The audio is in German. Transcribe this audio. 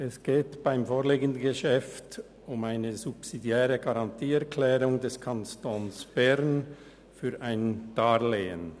Es geht beim vorliegenden Geschäft um eine subsidiäre Garantieerklärung des Kantons Bern für ein Darlehen.